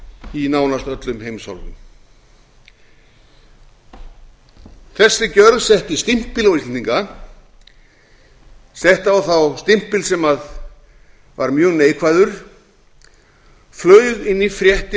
í nánast öllum heimshornum þessi gjörð setti stimpil á íslendinga setti á þá stimpil sem var mjög neikvæður flaug inn í fréttir